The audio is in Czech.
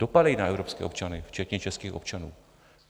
Dopadají na evropské občany včetně českých občanů.